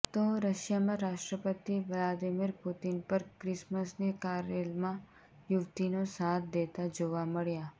તો રશિયામાં રાષ્ટ્રપતિ વાલ્દિમીર પુટિન પર ક્રિસમસની કારેલમાં યુવતીનો સાથ દેતા જોવા મળ્યા